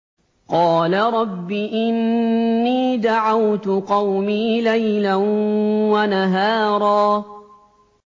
قَالَ رَبِّ إِنِّي دَعَوْتُ قَوْمِي لَيْلًا وَنَهَارًا